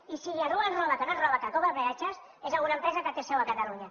i si algú ens roba que no ens roba que cobra peatges és alguna empresa que té seu a catalunya